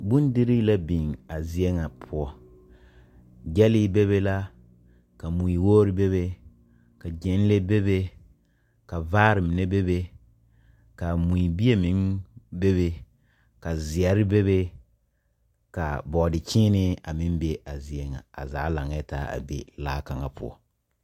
Bondirii la biŋ a zie poɔ. Gyɛlee be be la ka mui wogiri be be. Ka gyɛnlee be be, ka vaare be be, ka mui bie meŋ be be, ka zeɛre be be ka bɔɔdekyeene be be, a zaa laŋɛɛ taa a zie ŋa poɔ.